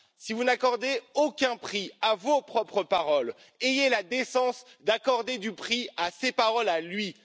Si vous n'accordez aucun prix à vos propres paroles, ayez la décence d'accorder du prix à ses paroles à lui.